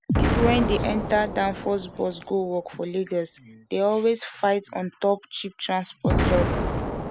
pipu wen dey enta danfo bus go work for lagos dey always dey fight ontop cheap transport help